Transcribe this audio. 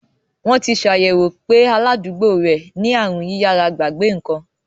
Wọ́n ti ṣàyẹ̀wò pé aládùúgbò rẹ̀ ní aàrùn yíyára-gbàgbé ǹkan.